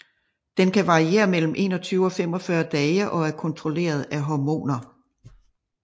Den kan variere mellem 21 og 45 dage og er kontrolleret af hormoner